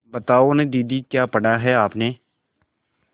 बताओ न दीदी क्या पढ़ा है आपने